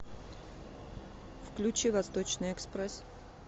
включи восточный экспресс